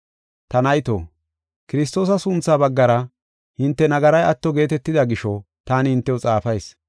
Ta nayto, Kiristoosa sunthaa baggara hinte nagaray atto geetetida gisho taani hintew xaafayis.